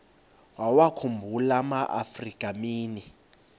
wawakhumbul amaafrika mini